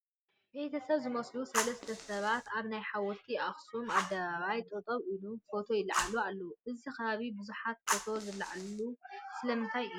ቤተሰብ ዝመስሉ ሰለስተ ሰባት ኣብ ናይ ሓወልቲ ኣኽሱም ኣደባባይ ጠጠው ኢሎም ፎቶ ይለዓሉ ኣለዉ፡፡ እዚ ከባቢ ብዙሓት ፎቶ ዝለዓልሉ ስለምንታይ እዩ?